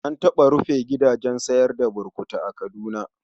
An taɓa rufe gidajen sayar da burutu a Kaduna.